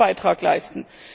Was heißt Beitrag leisten?